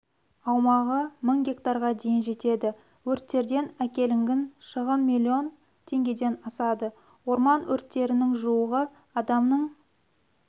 аумағы мың гектарға дейін жетеді өрттерден әкелінгін шығын миллион теңгеден асады орман өрттерінің жуығы адамның